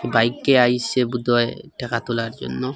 বাইকটি আইসে বোধহয় টাকা তোলার জন্য।